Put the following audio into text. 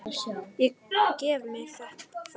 Ég gef mér það.